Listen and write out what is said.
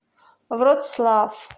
вроцлав